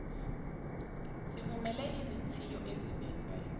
sivumele izithiyo ezibekwe